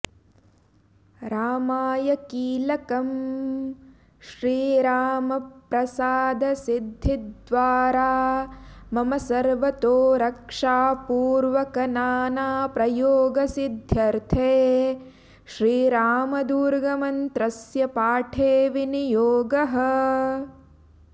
रामाय कीलकम् श्रीरामप्रसादसिद्धिद्वारा मम सर्वतो रक्षापूर्वकनानाप्रयोगसिध्यर्थे श्रीरामदुर्गमन्त्रस्य पाठे विनियोगः